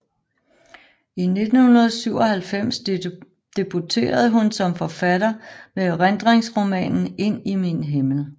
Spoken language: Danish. I 1997 debuterede hun som forfatter med erindringsromanen Ind i min himmel